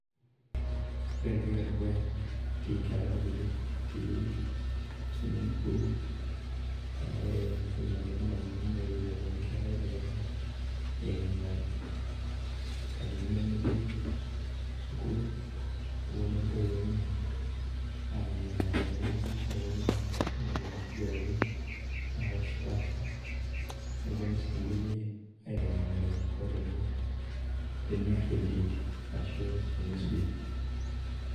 Ore entoki edukuya etii nkera kutitik etii swimming pool ore entoki nalotu ndamunot naa ewueji naponu nkera kutitik ayeng'inyenga're inkatitin nemetii school naponu oo ntowuo enye ayeng'inyenga' tenewueji naponu adala enkiguranitin napaasha neponu sii ngulie aitengenara enaiko teniar entinti arashuu tene swim